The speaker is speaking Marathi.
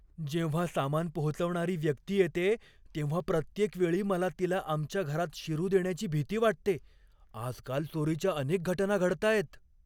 जेव्हा सामान पोहोचवणारी व्यक्ती येते, तेव्हा प्रत्येक वेळी मला तिला आमच्या घरात शिरू देण्याची भीती वाटते. आजकाल चोरीच्या अनेक घटना घडताहेत.